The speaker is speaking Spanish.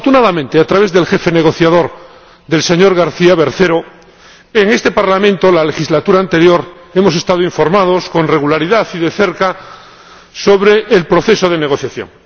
Afortunadamente, a través del jefe negociador, el señor García Bercero, en este Parlamento, en la legislatura anterior, hemos estado informados con regularidad y de cerca sobre el proceso de negociación.